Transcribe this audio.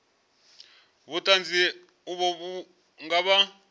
vhuṱanzi uvho vhu nga vha